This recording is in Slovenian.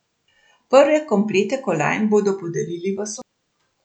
Prve komplete kolajn bodo podelili v soboto.